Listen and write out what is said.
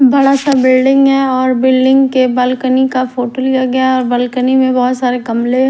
बड़ा सा बिल्डिंग है‌ और बिल्डिंग के बलकनी का फोटो लिया गया और बलकनी में बहुत सारे गमले--